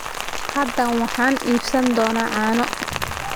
Hadda waxaan iibsan doonaa caano.